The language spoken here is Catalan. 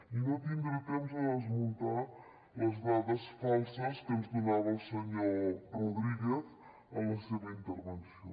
i no tindré temps de desmuntar les dades falses que ens donava el senyor rodríguez en la seva intervenció